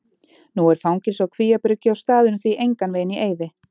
Nú er fangelsi á Kvíabryggju og staðurinn því engan veginn í eyði.